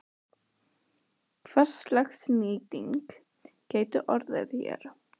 Kristján Már Unnarsson: Hverslags nýting gæti orðið hér?